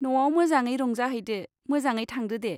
न'आव मोजाङै रंजाहैदो, मोजाङै थांदो दे।